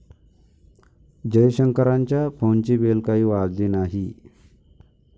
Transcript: जयशंकरांच्या फोनची बेल काही वाजली नाही.